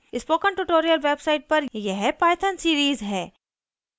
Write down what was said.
spoken tutorial website पर यह python series है